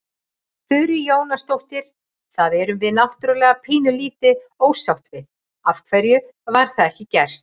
Þurí Jónasdóttir: Það erum við náttúrulega pínulítið ósátt við, af hverju var það ekki gert?